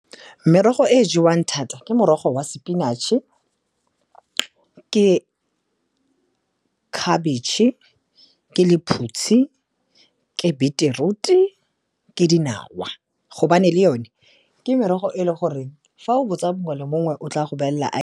Merogo e e jewang thata ke morogo wa sepinatšhe, ke khabitšhe, ke lephutshi, ke beetroot-e, ke dinawa gobane le yone ke merogo e le goreng fa o botsa mongwe le mongwe o tla go bolelela .